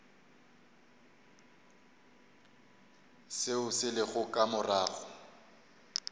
seo se lego ka morago